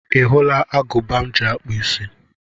Ị hụla agụba m ji akpụ isí?